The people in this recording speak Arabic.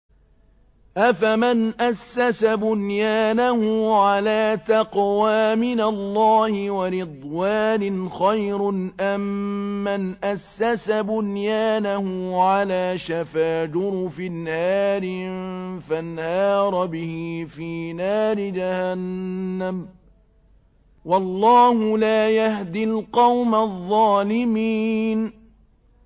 أَفَمَنْ أَسَّسَ بُنْيَانَهُ عَلَىٰ تَقْوَىٰ مِنَ اللَّهِ وَرِضْوَانٍ خَيْرٌ أَم مَّنْ أَسَّسَ بُنْيَانَهُ عَلَىٰ شَفَا جُرُفٍ هَارٍ فَانْهَارَ بِهِ فِي نَارِ جَهَنَّمَ ۗ وَاللَّهُ لَا يَهْدِي الْقَوْمَ الظَّالِمِينَ